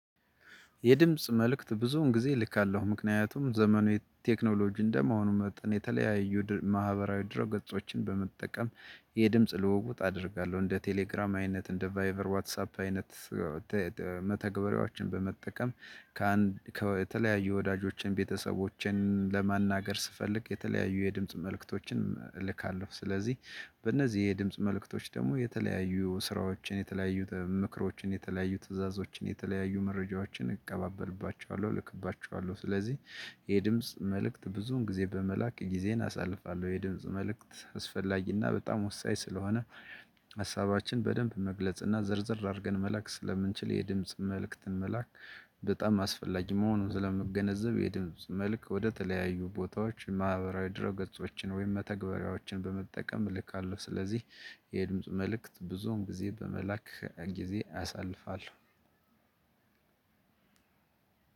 የድምጽ መልእክት ብዙውን ጊዜ ልካለሁ ምክንያቱም ዘመኑ የቴክኖሎጂ እንደመሆኑ መጠን የተለያዩ ማህበራዊ ድሮ ገጾችን በመጠቀም። የድምጽ ልውውጥ አደርጋለሁ እንደ ቴሌግራም አይነት እንደ ቫይቨር ዋትሳፕ አይነት መተግበሪያዎችን በመጠቀም ከአንድ ከተለያዩ ወዳጆችን ቤተሰቦችን ለመናገር ስፈልግ የተለያዩ የድምጽ መልእክቶችን እልካለሁ። ስለዚህ በእነዚህ የድምጽ መልእክቶች ደግሞ የተለያዩ ስራዎችን የተለያዩ ምክሮችን የተለያዩ ትዕዛዞችን የተለያዩ መረጃዎችን እቀባበልባቸዋለሁ እልክባቸዋለሁ። ስለዚህ የድምጽ መልእክት ብዙን ጊዜ በመላክ ጊዜን አሳልፋለሁ። የድምጽ መልእክት አስፈላጊና በጣም ወሳኝ ስለሆነ ሀሳባችን በደንብ መግለጽና ዝርዝር አድርገን መላክ ስለምንችል የድምጽ መልእክትን መላክ። በጣም አስፈላጊ መሆኑን ስለምገነዘብ የድምጽ መልክ ወደተለያዩ ቦታዎች ማህበራዊ ድረ ገጾችን ወይም መተግበሪያዎችን በመጠቀም እልካለሁ። አለው ስለዚህ የድምጽ መልእክት ብዙን ጊዜ በመላክ ጊዜ ያሳልፋል።